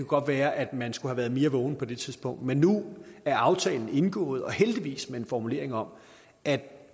godt være at man skulle have været mere vågen på det tidspunkt men nu er aftalen indgået og heldigvis med en formulering om at